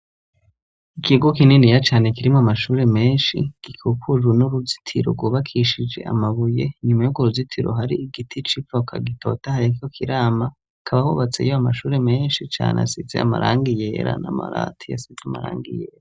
Ikigo kininiya cane kirimwo amashuri menshi, gikikujwe n'uruzitiro rwubakishije amabuye. Inyuma y'urwo ruzitiro hari igiti c'ivoka gitotahaye kiriko kirama. Hakaba hubatseyo amashure menshi cane asize amarang iyera n'amabati asize amarangi yera.